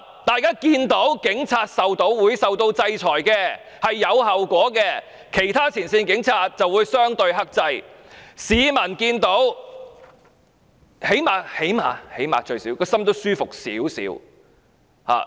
大家看到警員受到制裁，是有後果的，其他前線警員就會相對克制，市民最低限度內心也會舒服一點。